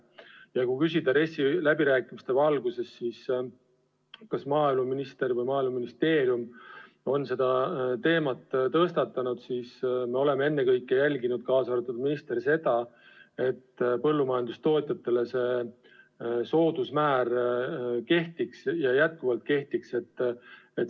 Ja kui küsida RES-i läbirääkimiste valguses, kas maaeluminister või Maaeluministeerium on seda teemat tõstatanud, siis me oleme ennekõike jälginud – ja ka mina ministrina –, et põllumajandustootjatele see soodusmäär edasi kehtiks.